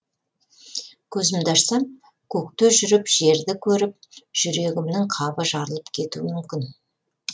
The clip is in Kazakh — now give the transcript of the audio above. көзімді ашсам көкте жүріп жерді көріп жүрегімнің қабы жарылып кетуі мүмкін